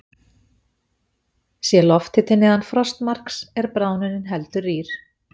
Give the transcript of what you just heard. Sé lofthiti neðan frostmarks er bráðnunin heldur rýr.